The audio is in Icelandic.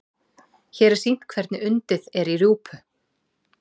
hér er sýnt hvernig undið er í rjúpu